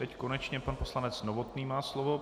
Teď konečně pan poslanec Novotný má slovo.